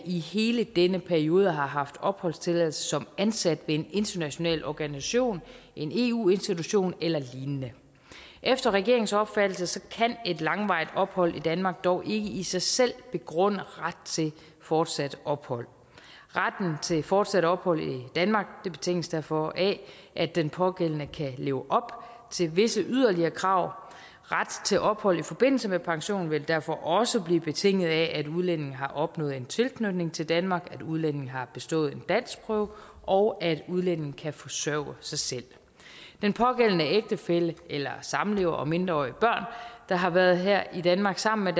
i hele denne periode har haft opholdstilladelse som ansat ved en international organisation en eu institution eller lignende efter regeringens opfattelse kan et langvarigt ophold i danmark dog ikke i i sig selv begrunde ret til fortsat ophold retten til fortsat ophold i danmark betinges derfor af at den pågældende kan leve op til visse yderligere krav ret til ophold i forbindelse med pension vil derfor også blive betinget af at udlændingen har opnået en tilknytning til danmark at udlændingen har bestået en danskprøve og at udlændingen kan forsørge sig selv den pågældende ægtefælle eller samlever og mindreårige børn der har været her i danmark sammen